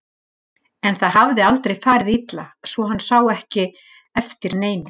En það hafði aldrei farið illa svo hann sá ekki eftir neinu.